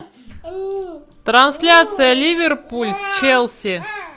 трансляция ливерпуль с челси